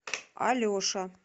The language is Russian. алеша